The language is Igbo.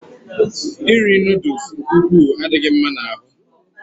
Iri noodles nke ukwuu adịghị mma n'ahụ